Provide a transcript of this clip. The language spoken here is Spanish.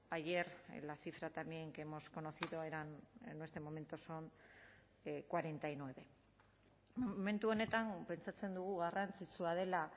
ayer en la cifra también que hemos conocido eran en este momento son cuarenta y nueve momentu honetan pentsatzen dugu garrantzitsua dela